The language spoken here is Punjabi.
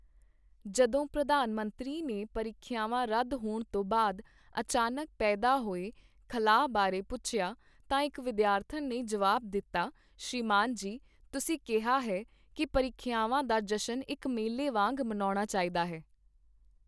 ਜਦੋਂ ਪ੍ਰਧਾਨ ਮੰਤਰੀ ਨੇ ਪਰੀਖਿਆਵਾਂ ਰੱਦ ਹੋਣ ਤੋਂ ਬਾਅਦ ਅਚਾਨਕ ਪੈਦਾ ਹੋਏ ਖ਼ਲਾਅ ਬਾਰੇ ਪੁੱਛਿਆ, ਤਾਂ ਇੱਕ ਵਿਦਿਆਰਥਣ ਨੇ ਜਵਾਬ ਦਿੱਤਾ ਸ਼੍ਰੀਮਾਨ ਜੀ, ਤੁਸੀਂ ਕਿਹਾ ਹੈ ਕਿ ਪਰੀਖਿਆਵਾਂ ਦਾ ਜਸ਼ਨ ਇੱਕ ਮੇਲੇ ਵਾਂਗ ਮਨਾਉਣਾ ਚਾਹੀਦਾ ਹੈ।